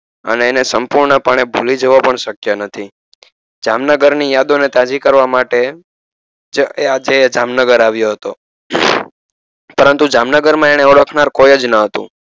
અને એને સંપૂર્ણ પાને ભૂલી જવો પણ શક્ય નથી જામનગર ની યાદો ને તાજી કરવા માટે તે આજે જામનગર આવીયો હતો પરંતુ જામનગર માં એને ઓળખનાર કોઈ જ ન હતું.